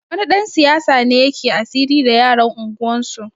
Wani ɗan siyasa ne yake asiri da yaran unguwarsu